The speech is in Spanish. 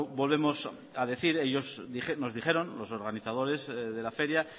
volvemos a decir que ellos nos dijeron los organizadores de la feria